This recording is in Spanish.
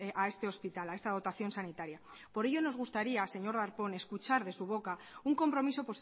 a este hospital a esta dotación sanitaria por ello nos gustaría señor darpón escuchar de su boca un compromiso